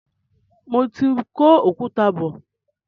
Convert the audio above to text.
Mo ti ń kó òkúta bọ.